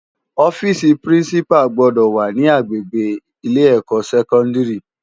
Òfisi pirinsipá gbòdò wá ni ágbégbé ilé èkò sèkòndári